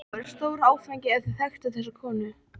Það væri stór áfangi ef þau þekktu þessa konu.